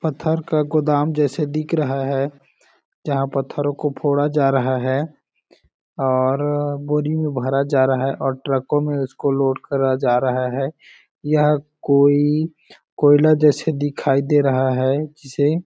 पत्थर का गोदाम जैसा दिख रहा है जहाँ पत्थरो को फोड़ा जा रहा है और बोरी में भरा जा रहा है और ट्रको में इस इसको लोड किया जा रहा है यह कोई कोईला जैसा दिखाई दे रहा है जिसे --